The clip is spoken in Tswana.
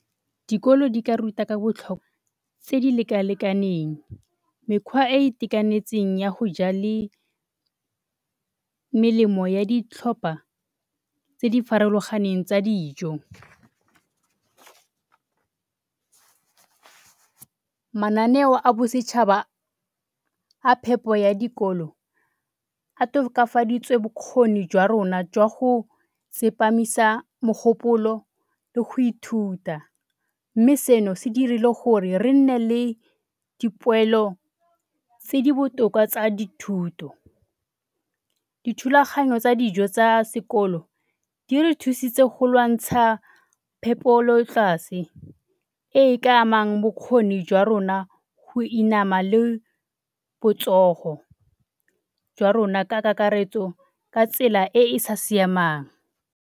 Dikolo di ka ruta ka tse di lekalekaneng, mekgwa e e itekanetseng ya go ja le melemo ya ditlhopha tse di farologaneng tsa dijo. Mananeo a bosetšhaba a phepo ya dikolo a tokafaditswe bokgoni jwa rona jwa go tsepamisa mogopolo le go ithuta mme, seno se dirile gore re nne le dipoelo tse di botoka tsa dithuto. Dithulaganyo tsa dijo tsa sekolo di re thusitse go lwantsha phepelotlase e e ka amang bokgoni jwa rona go inama le jwa rona ka kakaretso ka tsela e e sa siamang.